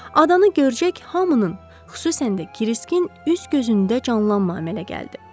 Adanı görəcək hamının, xüsusən də Kiriskin üz-gözündə canlanma əmələ gəldi.